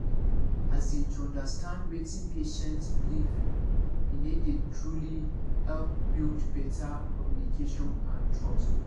as in to understand wetin patient beleive ine dey truly help build better communication and trust